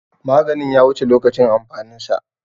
Maganin ya wuce lokacin amfanin sa.